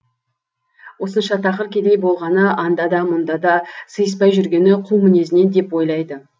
осынша тақыр кедей болғаны анда да мұнда да сыйыспай жүргені қу мінезінен деп ойлайды